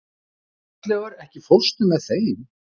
Bjarnleifur, ekki fórstu með þeim?